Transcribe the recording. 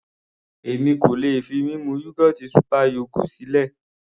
Èmi kò lè fi mímu yógọ́ọ̀tì super yogo sílẹ̀.